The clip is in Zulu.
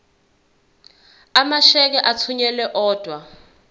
amasheke athunyelwa odwa